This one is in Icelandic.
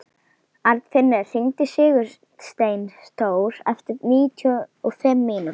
Arnfinnur, hringdu í Sigursteindór eftir níutíu og fimm mínútur.